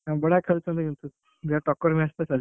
ହଁ ବଢିଆ ଖେଳୁଛନ୍ତି କିନ୍ତୁ ବଢିଆ ଟକ୍କର match ଟା ଚାଲିଛି।